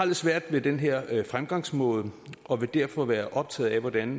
lidt svært med den her fremgangsmåde og vil derfor være optaget af hvordan